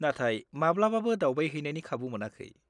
नाथाय माब्लाबाबो दावबायहैनायनि खाबु मोनाखै।